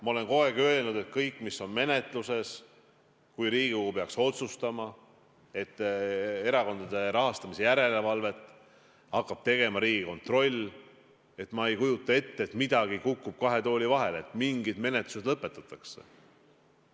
Ma olen kogu aeg öelnud, et kõik, mis on menetluses, kui Riigikogu peaks otsustama, et erakondade rahastamise järelevalvet hakkab tegema Riigikontroll, siis ma ei kujuta ette, et midagi kukub kahe tooli vahele, mingid menetlused lõpetatakse.